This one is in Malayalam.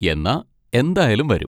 എന്നാ എന്തായാലും വരും.